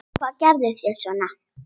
Og hvað gerðuð þér svo?